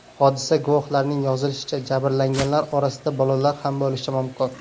Hodisa guvohlarining yozishicha, jabrlanganlar orasida bolalar ham bo‘lishi mumkin.